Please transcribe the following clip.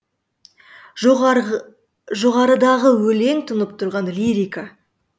жоғарыдағы өлең тұнып тұрған лирика